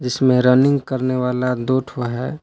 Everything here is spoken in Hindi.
जिसमें रनिंग करने वाला दो ठो है।